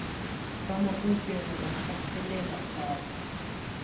kamo gompieno re gatelelang thata